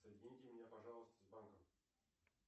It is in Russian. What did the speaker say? соедините меня пожалуйста с банком